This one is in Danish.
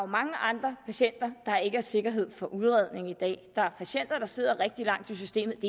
mange andre patienter der ikke har sikkerhed for udredning i dag der er patienter der sidder rigtig lang tid i systemet